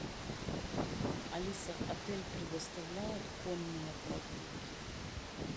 алиса отель предоставляет конные прогулки